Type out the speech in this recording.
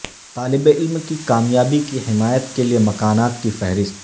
طالب علم کی کامیابی کی حمایت کے لئے مکانات کی فہرست